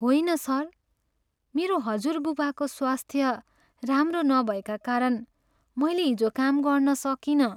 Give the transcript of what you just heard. होइन सर, मेरो हजुरबुबाको स्वास्थ्य राम्रो नभएका कारण मैले हिजो काम गर्न सकिनँ।